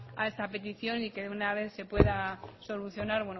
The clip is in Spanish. a esta petición y que de una vez se pueda solucionar